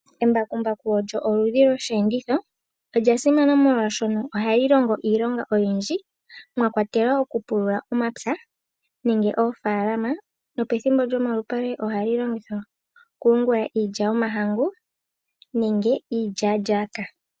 Embakumbaku olyo oludhi loshiyenditho. Olya simana molwaashoka ohali lomgo iilonga oyindji mwa kwatelwa okupulula omapya nenge oofalama. Nopethimbo lomalupale ohali longithwa okuyungula iilya yomahangu nenge iilyalyaka.